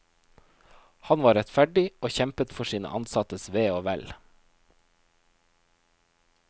Han var rettferdig og kjempet for sine ansattes ve og vel.